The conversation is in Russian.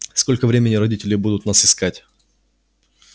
сколько времени родители будут нас искать